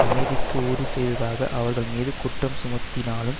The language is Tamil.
அமைதிக்கு ஊறு செய்ததாக அவர்கள் மீது குற்றம் சுமத்தினாலும்